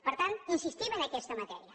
per tant insistim en aquesta matèria